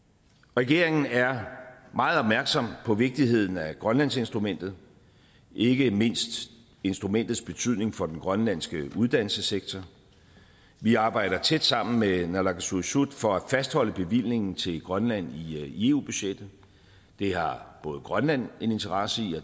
regeringen er meget opmærksom på vigtigheden af grønlandsinstrumentet ikke mindst instrumentets betydning for den grønlandske uddannelsessektor vi arbejder tæt sammen med naalakkersuisut for at fastholde bevillingen til grønland i eu budgettet det har grønland en interesse i